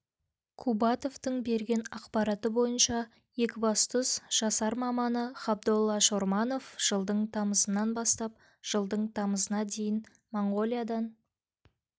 қубатовтың берген ақпараты бойынша екібастұз жасар маманы ғабдолла шорманов жылдың тамызынан бастап жылдың тамызына дейін монғолиядан